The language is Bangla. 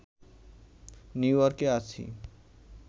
নিউইয়র্কে আছি